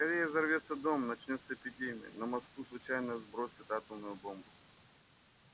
скорее взорвётся дом начнётся эпидемия на москву случайно сбросят атомную бомбу